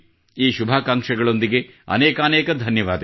ಈ ಶುಭಾಕಾಂಕ್ಷೆಗಳೊಂದಿಗೆ ಅನೇಕಾನೇಕ ಧನ್ಯವಾದ